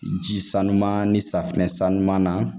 Ji sanuman ni safinɛ san ɲuman na